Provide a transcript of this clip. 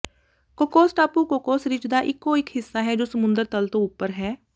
Cocos ਟਾਪੂ Cocos ridge ਦਾ ਇਕੋ ਇਕ ਹਿੱਸਾ ਹੈ ਜੋ ਸਮੁੰਦਰ ਤਲ ਤੋਂ ਉੱਪਰ ਹੈ